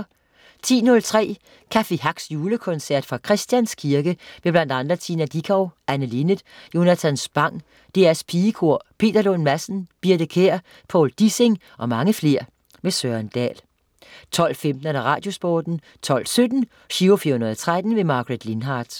10.03 Café Hacks julekoncert fra Christians Kirke. med bl.a. Tina Dickow, Anne Linnet, Jonathan Spang, DR pigekor, Peter Lund Madsen, Birthe Kjær, Povl Dissing og mange flere. Søren Dahl 12.15 Radiosporten 12.17 Giro 413. Margaret Lindhardt